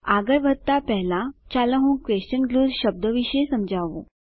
આગળ વધતા પહેલા ચાલો હું ક્વેશન ગ્લૂ શબ્દો વિશે સમજાવું